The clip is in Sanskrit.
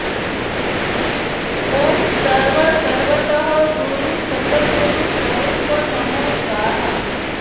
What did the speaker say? ॐ सर्व सर्वतः गुरु सतगुरु स्वरुप नमो स्वाहा